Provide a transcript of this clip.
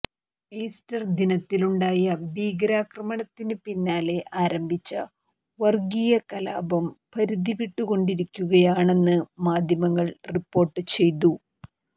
Easter ദിനത്തിലുണ്ടായ ഭീകരാക്രമണത്തിന് പിന്നാലെ ആരംഭിച്ച വർഗീയ കലാപം പരിധിവിട്ടുകൊണ്ടിരിക്കുകയാണെന്ന് മാധ്യമങ്ങൾ റിപ്പോർട്ട് ചെയ്തു